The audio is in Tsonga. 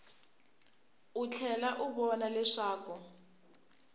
u tlhela u vona leswaku